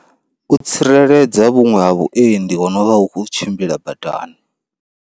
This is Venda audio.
U tsireledza vhuṅwe ha vhuendi ho novha hu kho tshimbila badani.